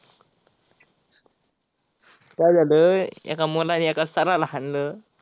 काय झाल एक मुलान एका sir ला हाणल.